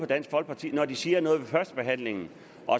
dansk folkeparti siger noget ved førstebehandlingen